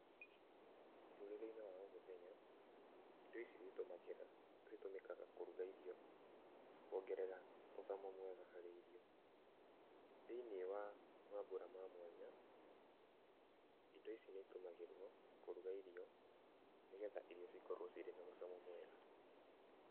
Mũtũrĩre-inĩ wa o mũthenya, indo ici nĩ itũmagĩra, citũmĩkaga kũruga irio, na kũongerera mũcamo mwega harĩ irio, thĩiniĩ wa mabura ma mwanya, indo ici nĩ itũmagĩrwo kũruga irio nĩgetha irio cikorwo cirĩ na mũcamo mwega.